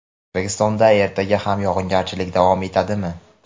O‘zbekistonda ertaga ham yog‘ingarchilik davom etadimi?.